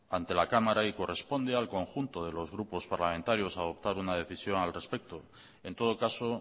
ante la cámara y corresponde al conjunto de los grupos parlamentarios adoptar una decisión al respecto en todo caso